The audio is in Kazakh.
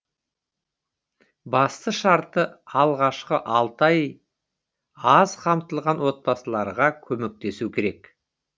басты шарты алғашқы алты ай аз қамтылған отбасыларға көмектесу керек